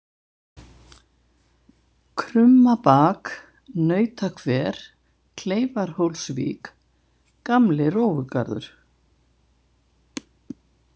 Krummabak, Nautahver, Kleifarhólsvík, Gamli rófugarður